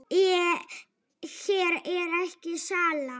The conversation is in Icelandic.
Hér er ekki sála.